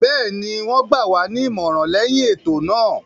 Bẹ́ẹ̀ni, wọ́n gbà wá ní ìmọ̀ràn lẹyìn ètò náà.